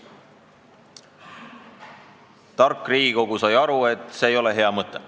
Tark Riigikogu sai aru, et see ei ole hea mõte.